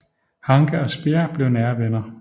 Hanke og Speer blev nære venner